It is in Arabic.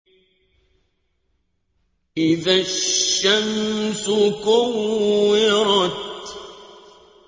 إِذَا الشَّمْسُ كُوِّرَتْ